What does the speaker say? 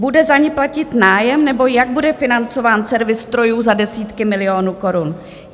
Bude za ni platit nájem, nebo jak bude financován servis strojů za desítky milionů korun?